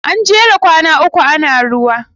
An jera kwana uku ana ruwa.